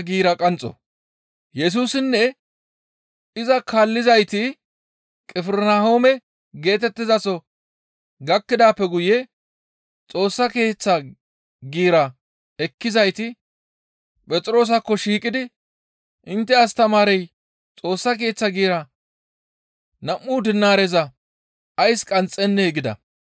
Yesusinne iza kaallizayti Qifirnahoome geetettizaso gakkidaappe guye Xoossa Keeththa giira ekkizayti Phexroosakko shiiqidi, «Intte astamaarey Xoossa Keeththa giiraa nam7u dinaareza ays qanxxennee?» gida.